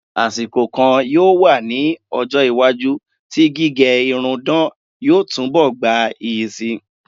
Àsìkò kan yóò wá ní ọjọ́-iwájú tí gíge irun dán yóò túnbọ̀ gbayì síi.